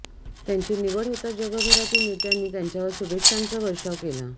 त्यांची निवड होताच जगभरातील नेत्यांनी त्यांच्यावर शुभेच्छांचा वर्षाव केला